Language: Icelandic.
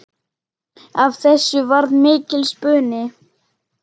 Af þessu varð mikill spuni.